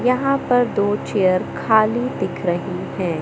यहाँ पर दो चेयर खाली दिख रहीं हैं।